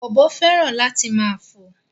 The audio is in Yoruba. Ọ̀bọ féràn láti máa fò